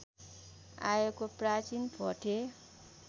आएको प्राचीन भोटे